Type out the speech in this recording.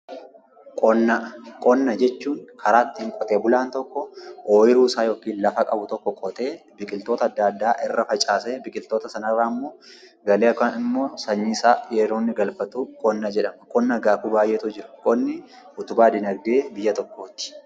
Qonna jechuun karaa itti qotee bulaa tokko oyiruu isaa yookiin lafa qabu tokko qotee biqiltoota adda addaa irra facaasee biqiltoota sana irraa ammoo galii isaa yroo inni galfatu qonna jedhama. Qonna akaakuu hedduutu jiru. Qonni utubaa diinagdee biyya tokkooti.